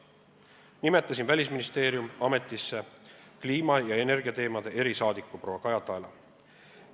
Nimetasin Välisministeeriumis ametisse kliima- ja energiateemade erisaadiku proua Kaja Taela.